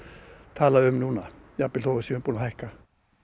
tala um núna jafnvel þó við séum búin að hækka